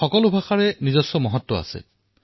প্ৰতিটো ভাষাৰে নিজাকৈ মহত্ব থাকে